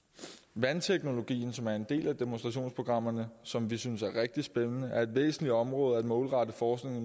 vandteknologien som er en del af demonstrationsprogrammerne som vi synes er rigtig spændende er et væsentligt område at målrette forskning